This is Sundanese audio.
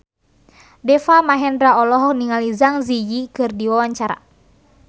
Deva Mahendra olohok ningali Zang Zi Yi keur diwawancara